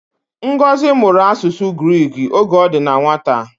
Ngozi mụrụ asụsụ Giriki oge o di na nwata